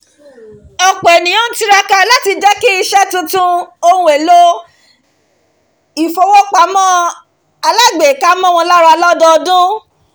ọ̀pọ̀ ènìyàn ń tiraka láti jẹ́ kí iṣẹ́ tuntun ohun èlò ìfowópamọ́ alágbèéká mọ́ wọn lára lọdọọdun